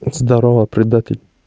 здорово предатель